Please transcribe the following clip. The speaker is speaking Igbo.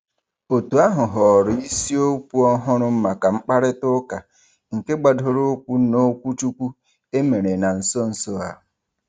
Òtù ahụ họọrọ isiokwu ọhụrụ maka mkparịtaụka nke gbadoroụkwụ n'okwuchukwu e merela na nso nso a.